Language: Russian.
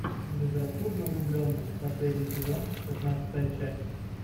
безрассудно влюбленные последний сезон шестнадцатая часть